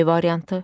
B variantı.